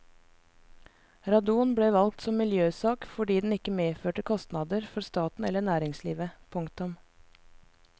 Radon ble valgt som miljøsak fordi den ikke medførte kostnader for staten eller næringslivet. punktum